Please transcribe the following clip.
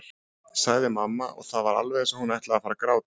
sagði mamma og það var alveg eins og hún ætlaði að fara að gráta.